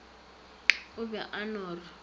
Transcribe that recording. o be a no re